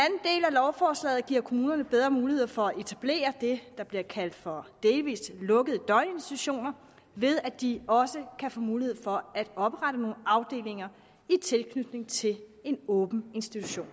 lovforslaget giver kommunerne bedre muligheder for at etablere det der bliver kaldt for delvis lukkede døgninstitutioner ved at de også kan få mulighed for at oprette nogle afdelinger i tilknytning til en åben institution